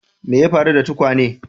Me ya faru da tukwane?